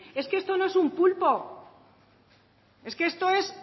es que esto no es un pulpo es que esto es